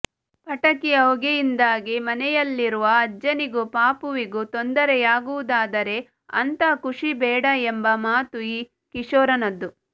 ಪಟಾಕಿಯ ಹೊಗೆಯಿಂದಾಗಿ ಮನೆಯಲ್ಲಿರುವ ಅಜ್ಜನಿಗೂ ಪಾಪುವಿಗೂ ತೊಂದರೆಯಾಗುವುದಾದರೆ ಅಂಥ ಖುಷಿ ಬೇಡ ಎಂಬ ಮಾತು ಈ ಕಿಶೋರನದ್ದು